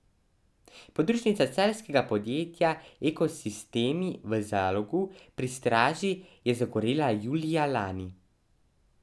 Podružnica celjskega podjetja Ekosistemi v Zalogu pri Straži je zagorela julija lani.